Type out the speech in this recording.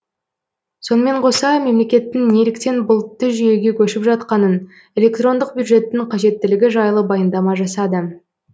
сонымен қоса мемлекеттің неліктен бұлтты жүйеге көшіп жатқанын электрондық бюджеттің қажеттілігі жайлы баяндама жасады